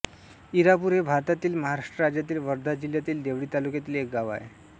इरापूर हे भारतातील महाराष्ट्र राज्यातील वर्धा जिल्ह्यातील देवळी तालुक्यातील एक गाव आहे